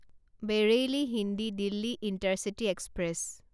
Bareilly New Delhi intercity express